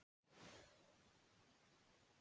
Atlot þín hafa gufað upp.